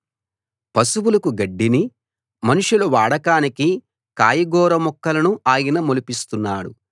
పశువులకు గడ్డిని మనుషుల వాడకానికి కాయగూర మొక్కలను ఆయన మొలిపిస్తున్నాడు